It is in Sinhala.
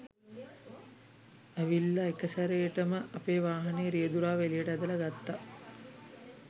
ඇවිල්ල එකසැරේටම අපේ වාහනේ රියදුරාව එලියට ඇදලා ගත්තා